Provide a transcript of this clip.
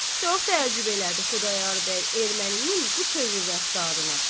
Çox təəccüb elədi Xudayar bəy erməninin bu tövür rəftarına.